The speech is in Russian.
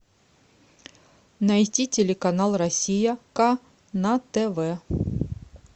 найти телеканал россия ка на тв